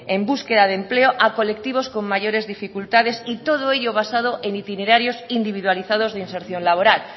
en búsqueda de empleo a colectivos con mayores dificultades y todo ello basado en itinerarios individualizados de inserción laboral